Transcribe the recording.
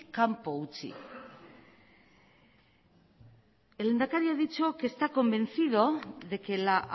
kanpo utzi el lehendakari ha dicho que está convencido de que la